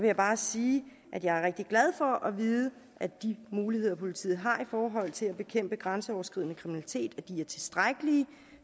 jeg bare sige at jeg er rigtig glad for at vide at de muligheder politiet har i forhold til at bekæmpe grænseoverskridende kriminalitet er tilstrækkelige